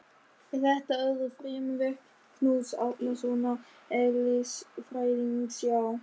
Er þetta öðru fremur verk Knúts Árnasonar eðlisfræðings hjá